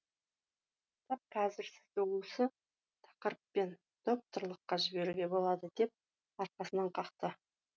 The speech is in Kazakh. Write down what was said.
тап қазір сізді осы тақырыппен докторлыққа жіберуге болады деп арқасынан қақты